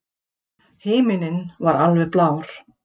Himinninn var alveg blár.